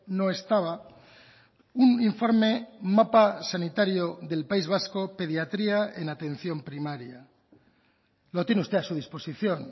no estaba un informe mapa sanitario del país vasco pediatría en atención primaria lo tiene usted a su disposición